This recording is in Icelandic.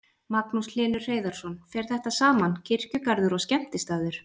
Magnús Hlynur Hreiðarsson: Fer þetta saman, kirkjugarður og skemmtistaður?